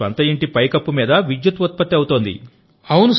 మీ స్వంత ఇంటి పైకప్పు మీద విద్యుత్ ఉత్పత్తి అవుతోంది